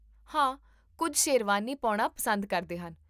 ਹਾਂ, ਕੁੱਝ ਸ਼ੇਰਵਾਨੀ ਪਾਉਣਾ ਪਸੰਦ ਕਰਦੇ ਹਨ